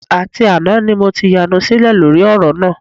Àti àná ni mo ti yanu sílẹ̀ lórí ọ̀rọ̀ náà